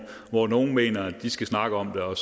hvor nogle mener at de skal snakke om det og